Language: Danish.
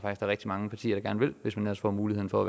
er rigtig mange partier der gerne vil hvis man ellers får muligheden for